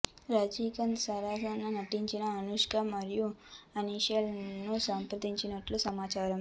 రజినికాంత్ సరసన నటించడానికి అనుష్క మరియు అసిన్ లను సంప్రదించినట్లు సమాచారం